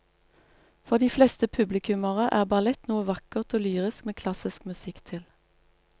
For de fleste publikummere er ballett noe vakkert og lyrisk med klassisk musikk til.